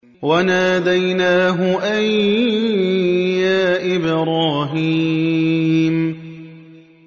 وَنَادَيْنَاهُ أَن يَا إِبْرَاهِيمُ